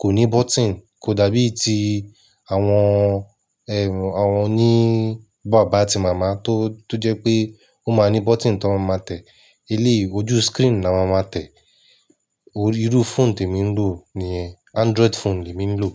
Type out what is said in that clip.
kò ní button. Kò dàbí i ti àwọn, ẹh, àwọn òní bàbá ti màmá tó, tó jẹ́ pé ó máa ní button tí wọ́n máa tẹ̀. Eléè ojú screen là wọ́n máa tẹ̀. Irú phone tí mo ń lò ní ẹ. Android phone ni mo ń lò.